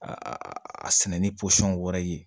Aa a sɛnɛ ni posɔn wɛrɛ ye